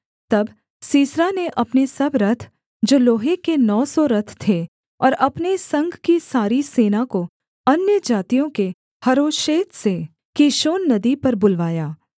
तब सीसरा ने अपने सब रथ जो लोहे के नौ सौ रथ थे और अपने संग की सारी सेना को अन्यजातियों के हरोशेत से कीशोन नदी पर बुलवाया